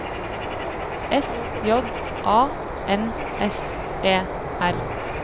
S J A N S E R